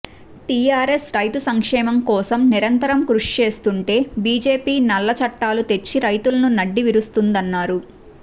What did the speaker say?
TRS రైతు సంక్షేమంకోసం నిరంతరం కృషిచేస్తుంటే బిజెపి నల్లచట్టాలు తెచ్చి రైతుల నడ్డీ విరుస్తుందన్నారు